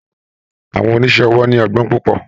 Àwọn oníṣe owó ní ogbón púpò.